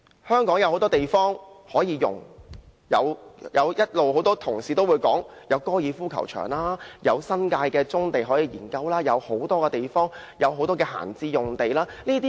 香港有很多地方可以用，例如一直有同事提到的高爾夫球場，新界的棕地，多幅閒置的用地都可以研究興建房屋。